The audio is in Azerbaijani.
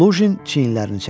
Lujin çiynlərini çəkdi.